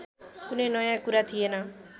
कुनै नयाँ कुरा थिएन